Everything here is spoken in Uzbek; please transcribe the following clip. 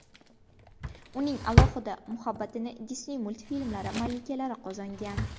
Uning alohida muhabbatini Disney multfilmlari malikalari qozongan.